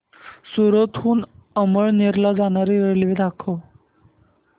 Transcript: सूरत हून अमळनेर ला जाणारी रेल्वे दाखव